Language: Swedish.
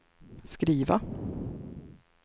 skriva